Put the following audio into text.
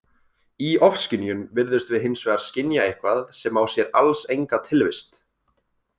Í ofskynjun virðumst við hins vegar skynja eitthvað sem á sér alls enga tilvist.